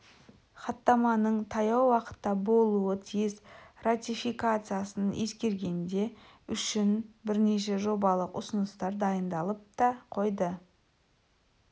хаттаманың таяу уақытта болуы тиіс ратификациясын ескергенде үшін бірнеше жобалық ұсыныстар дайындалып та қойды